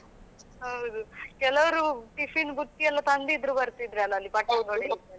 ಹೌದು ಕೆಲವರು tiffin ಬುತ್ತಿ ಎಲ್ಲ ತಂದಿದ್ರು ಬರ್ತಿದ್ರಲ್ಲ ಅಲ್ಲಿ ಪಟ್ಟಂಗ ಹೊಡಿಲಿಕ್ಕೆ ಎಲ್ಲ.